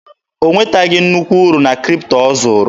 O nwetaghị nnukwu uru na Kripto ọ zụrụ.